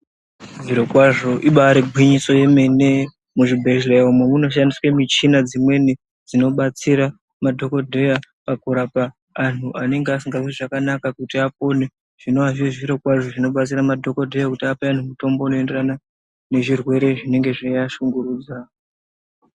Zviro kwazvo ibari gwinyiso yemene muzvibhedhleya umo munoshandiswa muchini dzimweni dzinobatsira madhokodheya pakurapa antu anenga asikazwi zvakanaka kuti apone zvinova zviri zviro kwazvo zvinobatsira madhokodheya kuti ape antu mutombo unoenderana nezvirwere zvinenga zveiashungurudza.